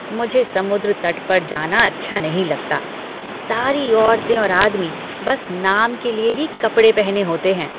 मुझे समुद्र तट पर जाना अच्छा नहीं लगता। सारी औरतें और आदमी बस नाम के लिए ही कपड़े पहने होते हैं।